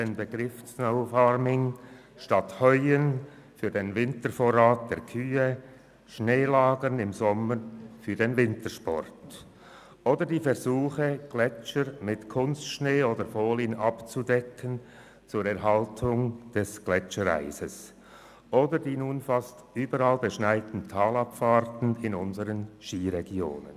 Der Begriff meint das Lagern von Schnee im Sommer für den Wintersport, anstatt das Ernten von Heu im Sommer für den Wintervorrat der Kühe, oder die Versuche, Gletscher mit Kunstschnee oder Folien zur Erhaltung des Gletschereises abzudecken, oder die nun fast überall beschneiten Talabfahrten in unseren Skiregionen.